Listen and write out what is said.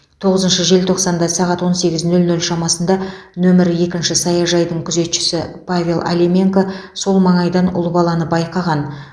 тоғызыншы желтоқсанда сағат он сегіз нөл нөл шамасында нөмірі екінші саяжайдың күзетшісі павел алименка сол маңайдан ұл баланы байқаған